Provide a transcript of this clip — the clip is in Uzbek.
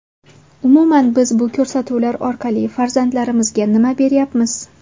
Umuman, biz bu ko‘rsatuvlar orqali farzandlarimizga nima beryapmiz?